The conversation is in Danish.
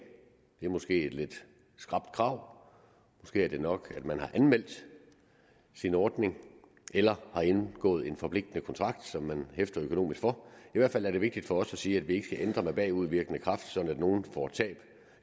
det er måske et lidt skrapt krav måske er det nok at man har anmeldt sin ordning eller har indgået en forpligtende kontrakt som man hæfter økonomisk for i hvert fald er det vigtigt for os at sige at vi ikke skal ændre med bagudvirkende kraft sådan at nogle får tab